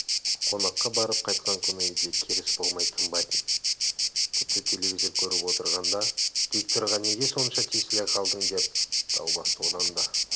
қонаққа барып қайтқан күні үйде керіс болмай тынбайтын тіпті телевизор көріп отырғанда дикторға неге сонша тесіле калдың деп дау бастаудан да